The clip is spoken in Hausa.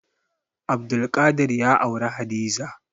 Abdulkadir ya auri Hadiza.